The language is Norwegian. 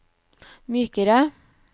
mykere